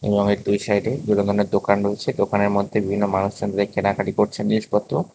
এবং এর সাইডে বিভিন্ন ধরনের দোকান রয়েছে দোকানের মধ্যে বিভিন্ন মানুষজন কেনাকাটি করছে জিনিসপত্র।